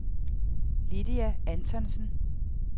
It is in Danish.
Lydia Antonsen